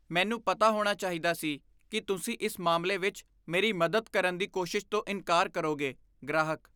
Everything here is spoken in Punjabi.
ਮੈਨੂੰ ਪਤਾ ਹੋਣਾ ਚਾਹੀਦਾ ਸੀ ਕੀ ਤੁਸੀਂ ਇਸ ਮਾਮਲੇ ਵਿੱਚ ਮੇਰੀ ਮਦਦ ਕਰਨ ਦੀ ਕੋਸ਼ਿਸ਼ ਤੋਂ ਇਨਕਾਰ ਕਰੋਗੇ ਗ੍ਰਾਹਕ